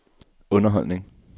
underholdning